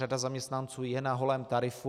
Řada zaměstnanců je na holém tarifu.